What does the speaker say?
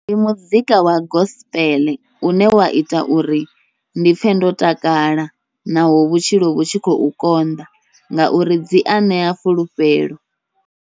Ndi muzika wa gospel une wa ita uri ndi pfhe ndo takala, naho vhutshilo vhu tshi khou konḓa ngauri dzia ṋea fulufhelo.